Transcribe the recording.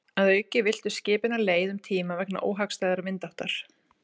Að auki villtust skipin af leið um tíma vegna óhagstæðrar vindáttar.